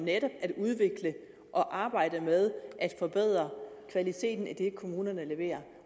netop at udvikle og arbejde med at forbedre kvaliteten af det kommunerne leverer